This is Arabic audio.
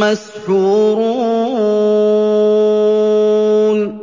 مَّسْحُورُونَ